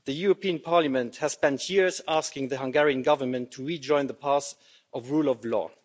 The European Parliament has spent years asking the Hungarian Government to rejoin the path of the rule of law.